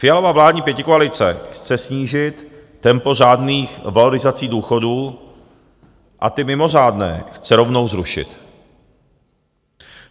Fialova vládní pětikoalice chce snížit tempo řádných valorizací důchodů a ty mimořádné chce rovnou zrušit.